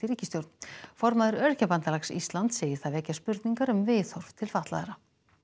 ríkisstjórn formaður Öryrkjabandalags Íslands segir það vekja spurningar um viðhorf til fatlaðra